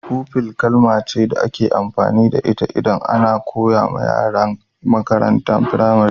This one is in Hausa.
Fufi kalma ce da ake amfani da ita idan ana koma ga yaran makarantan firamari.